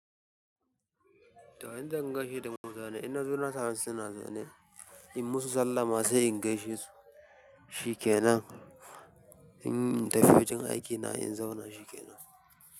To nakan gaishe da mutane. Inna zo na samesu suna zaune. In musu sallama sai in gaishe su. Shikenan. In tafiye wajen aikina, in zauna shikenan.